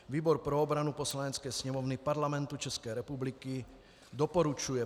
Výbor pro obranu Poslanecké sněmovny Parlamentu České republiky doporučuje